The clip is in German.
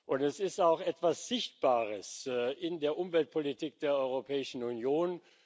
Und es ist auch etwas Sichtbares in der Umweltpolitik der Europäischen Union.